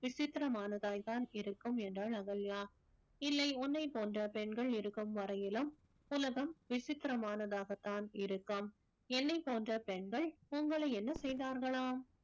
விசித்திரமானதாய்தான் இருக்கும் என்றாள் அகல்யா இல்லை உன்னைப் போன்ற பெண்கள் இருக்கும் வரையிலும் உலகம் விசித்திரமானதாகத்தான் இருக்கும் என்னைப் போன்ற பெண்கள் உங்களை என்ன செய்தார்களாம்